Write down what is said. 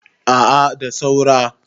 a a da saura